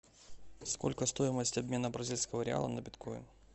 сколько стоимость обмена бразильского реала на биткоин